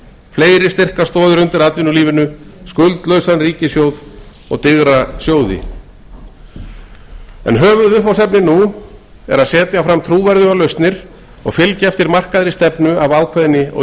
fleiri styrkar stoðir undir atvinnulífinu skuldlausan ríkissjóð og digra sjóði höfuðviðfangsefnið nú er að setja fram trúverðugar lausnir og fylgja eftir markaðri stefnu af ákveðni og